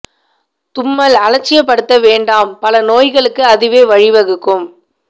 தும்மல் அலட்சிய படுத்த வேண்டாம் பல நோய்களுக்கு அதுவே வழி வகுக்கும்